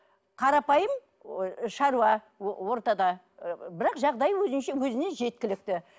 қарапайым шаруа ортада ы бірақ жағдайы өзінше өзіне жеткілікті